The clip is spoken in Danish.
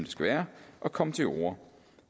skal være at komme til orde